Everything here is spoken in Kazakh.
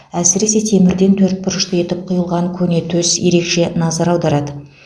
әсіресе темірден төрт бұрышты етіп құйылған көне төс ерекше назар аударады